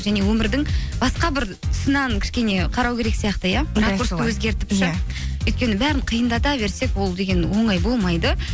және өмірдің басқа бір тұсынан кішкене қарау керек сияқты иә өзгертіп ше өйткені бәрін қиындата берсек ол деген оңай болмайды